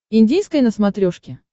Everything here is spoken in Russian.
индийское на смотрешке